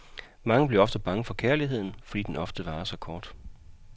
Mange bliver bange for kærligheden, fordi den ofte varer så kort.